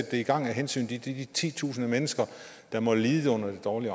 det i gang af hensyn til de titusind mennesker der må lide under det dårlige